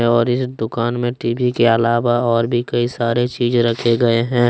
और इस दुकान में टी_वी के अलावा और भी कई सारे चीज रखे गए हैं।